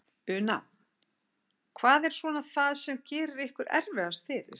Una: Hvað er svona það sem að gerir ykkur erfiðast fyrir?